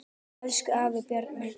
Elsku afi Bjarni.